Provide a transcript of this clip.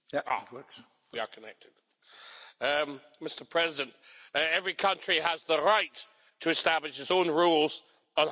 Mr President, every country has the right to establish its own rules on how to conduct elections.